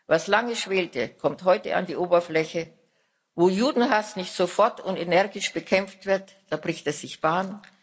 Was lange schwelte, kommt heute an die Oberfläche Wo Judenhass nicht sofort und energisch bekämpft wird, da bricht er sich Bahn.